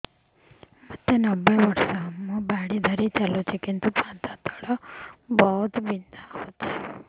ମୋତେ ନବେ ବର୍ଷ ମୁ ବାଡ଼ି ଧରି ଚାଲୁଚି କିନ୍ତୁ ପାଦ ତଳ ବହୁତ ବଥା ହଉଛି